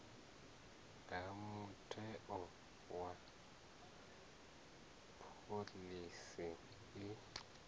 ha mutheo wa phoḽisi i